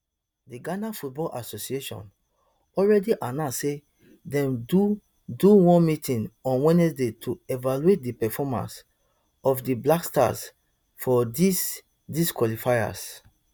di ghana football association already announce say dem do do one meeting on wednesday to evaluate di performance of di black stars for dis dis qualifiers